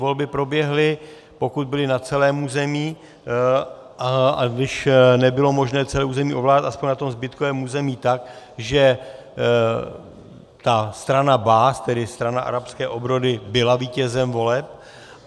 Volby proběhly, pokud byly na celém území, a když nebylo možné celé území ovládat, aspoň na tom zbytkovém území tak, že ta strana Baas, tedy strana arabské obrody, byla vítězem voleb.